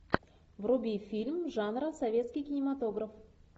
вруби фильм жанра советский кинематограф